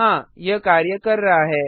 हाँ यह कार्य कर रहा है